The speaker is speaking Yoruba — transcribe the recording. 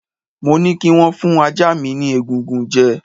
Mo ní kī wón fún ajá mi ni egungun jẹ